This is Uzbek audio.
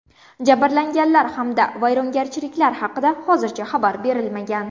Jabrlanganlar hamda vayrongarchiliklar haqida hozircha xabar berilmagan.